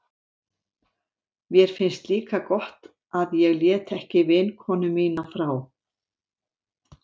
Mér finnst líka gott að ég lét ekki vinkonu mína frá